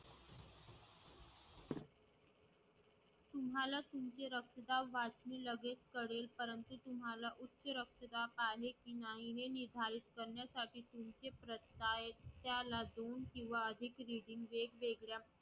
तुम्हाला तुमचे रक्तदाब वाढलेले लगेच कळेल परंतु तुम्हाला उच्च रक्तदाब आहे कि नाही हे निर्धारित करण्यासाठी त्याला दोन किंवा अधिक reading वेगवेगळ्या